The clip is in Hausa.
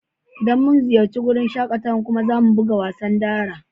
Idan mun ziyace wurin shakatawan kuma za mu buga wasan dara